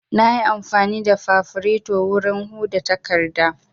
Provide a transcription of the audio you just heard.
Na yi amfani da fafureto wurin huda takardu